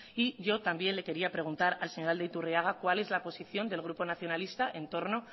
y yo también le quería preguntar al señor aldaiturriaga cuál es la posición del grupo nacionalista entorno